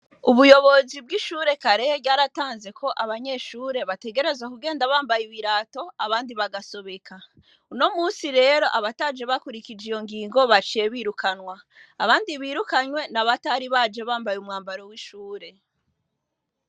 Ubuyobozi bw'ishure Karehe ryaratanze ko abayeshure bategerezwa kugenda bambaye ibirato abandi bagasobeka. Uno musi rero abataje bakurukuje iyo ngingo baciye birukanwa. Abandi birukanywe ni abatari abje bambaye umwambaro w'ishure.